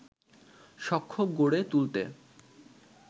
সখ্য গড়ে তুলতে